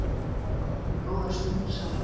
Áttum við góðar stundir saman.